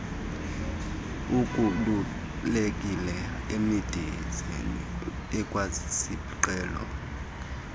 ukhululekile emidizeni ikwasisiqhelo